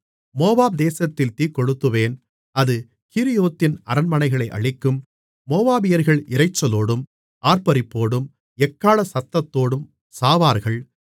Moab தேசத்தில் தீக்கொளுத்துவேன் அது கீரியோத்தின் அரண்மனைகளை அழிக்கும் மோவாபியர்கள் இரைச்சலோடும் ஆர்ப்பரிப்போடும் எக்காள சத்தத்தோடும் சாவார்கள்